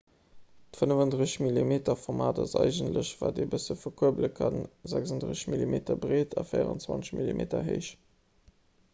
d'35-mm-format ass eigentlech wat een e bësse verkuerbele kann 36 mm breet a 24 mm héich